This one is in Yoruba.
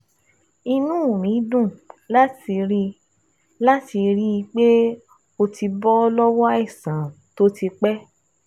Inú mi dùn láti rí láti rí i pé o ti bọ́ lọ́wọ́ àìsàn tó ti pẹ́